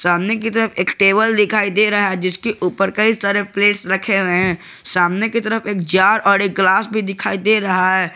सामने के तरफ एक टेबल दिखाई दे रहा है जिसके ऊपर कई सारे प्लेट रखे हुए हैं सामने की तरफ एक जार और एक ग्लास भी दिखाई दे रहा है।